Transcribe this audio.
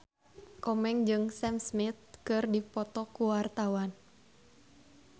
Komeng jeung Sam Smith keur dipoto ku wartawan